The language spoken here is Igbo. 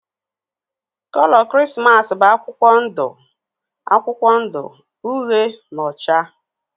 Kolo Krismas bụ akwụkwọ ndụ akwụkwọ ndụ, uhie na ọcha.